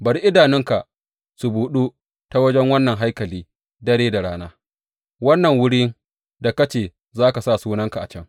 Bari idanunka su buɗu ta wajen wannan haikali dare da rana, wannan wurin da ka ce za ka sa Sunanka a can.